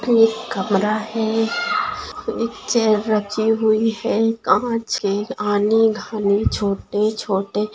ये एक कमरा है एक चेअर रखी हुई है कांच है छोटे-छोटे--